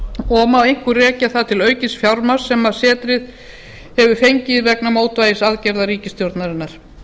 og má einkum rekja það til aukins fjármagns sem setrið hefur fengið vegna mótvægisaðgerða ríkisstjórnarinnar